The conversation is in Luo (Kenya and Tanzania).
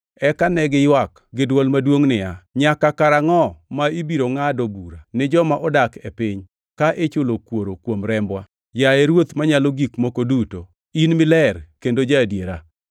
Eka ne giywak gi dwol maduongʼ niya, “Nyaka karangʼo ma ibiro ngʼado bura ni joma odak e piny ka ichulo kuor kuom rembwa, yaye Ruoth Manyalo Gik Moko Duto, in miler kendo ja-adiera?”